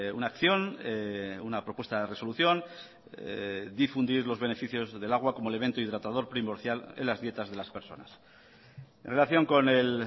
una acción una propuesta de resolución difundir los beneficios del agua como elemento hidratador primordial en las dietas de las personas en relación con el